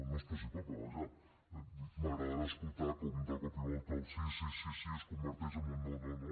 no és possible però vaja m’agradarà escoltar com de cop i volta el sí sí sí es converteix en un no no no